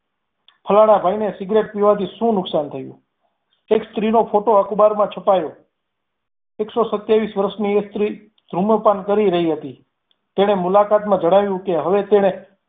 ફલાણા ભાઈને સિગારેટ પીવાથી શું નુકસાન થયું. એક સ્ત્રીનો photo અખબારમાં છપાયો. એકસો સત્યાવીસ વર્ષની એક સ્ત્રી ધૂમ્રપાન કરી રહી હતી તેને મુલાકાતમાં જણાવ્યું કે હવે તેને